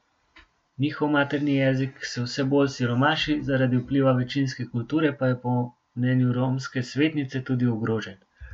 Njihov materni jezik se vse bolj siromaši, zaradi vpliva večinske kulture pa je po mnenju romske svetnice tudi ogrožen.